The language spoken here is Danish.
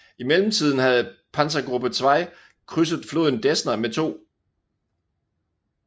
I mellemtiden havde Panzergruppe 2 krydset floden Desna med 2